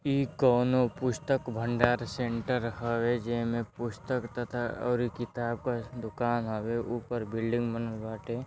इ कोनो पुस्तक भंडार सेंटर होवे जैमे पुस्तक तथा और किताब का दुकान होवे ऊपर बिल्डिंग बनल बाटे।